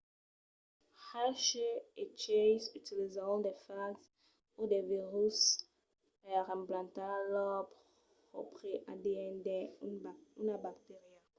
hershey e chase utilizèron de fags o de viruses per implantar lor pròpri adn dins una bacteria